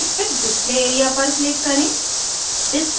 फिर display area पर click करें